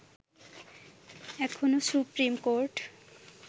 এখনো supreme court